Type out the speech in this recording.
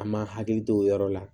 An ma hakili to o yɔrɔ la